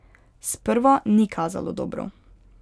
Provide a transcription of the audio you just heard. Sprva ni kazalo dobro.